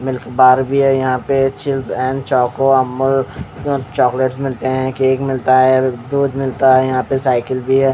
Milk Barbie है यहाँ पे चीज़ और चोको अमूल चॉकलेट मिलते है केक मिलता है दूध मिलता है यहाँ पे सायकल भी है।